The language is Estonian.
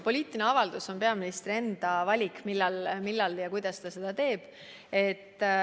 Poliitilise avalduse puhul on peaministri enda valik, millal ja kuidas ta seda teeb.